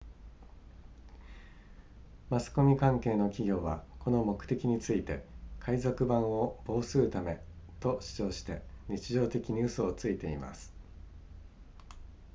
マスコミ関係の企業はこの目的について海賊版を防するためと主張して日常的に嘘をついています